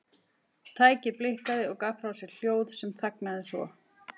Tækið blikkaði og gaf frá sér hljóð en þagnaði svo.